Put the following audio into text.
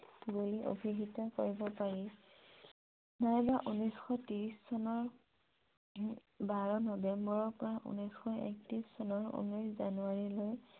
বুলি অভিহিত কৰিব পাৰি । এক হাজাৰ নশ ত্ৰিশ চনৰ বাৰ নৱেম্বৰৰ পৰা এক হাজাৰ নশ একত্ৰিশ চনৰ ঊনৈশ জানুৱাৰীলৈ